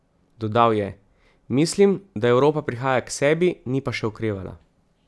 Dodal je: "Mislim, da Evropa prihaja k sebi, ni pa še okrevala".